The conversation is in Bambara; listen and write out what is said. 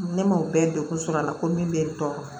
Ne m'o bɛɛ degun sɔrɔ a la ko min bɛ n tɔɔrɔ